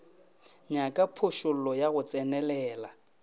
nyaka phošollo ya go tsenelela